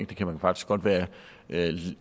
kan faktisk godt være